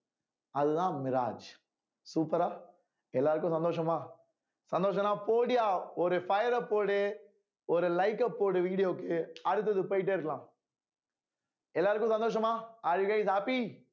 அதுதான் mirage super ஆ எல்லாருக்கும் சந்தோஷமா சந்தோஷம்ன்னா போடுயா ஒரு fire அ போடு ஒரு like அ போடு video க்கு அடுத்தது போயிட்டே இருக்கலாம் எல்லாருக்கும் சந்தோஷமா all guys happy